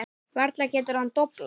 Varla getur hann doblað.